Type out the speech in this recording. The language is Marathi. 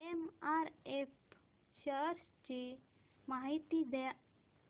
एमआरएफ शेअर्स ची माहिती द्या